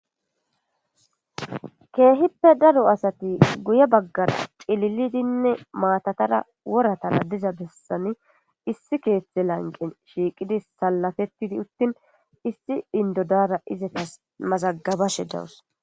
keehippe daro asati guye baggara cililidinne maatatara woratala diza bessani issi keethethe lanqen shiiqidi salafettidi uttin issi indodara izatas mazagabashe dawus